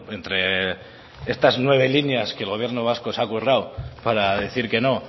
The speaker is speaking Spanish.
entre estas nueve líneas que el gobierno vasco se ha currado para decir que no